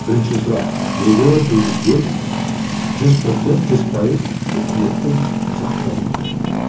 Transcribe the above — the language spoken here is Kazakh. бірінші сұрақ неге президент жүз процент жүз пайыз үкіметтің сақтауында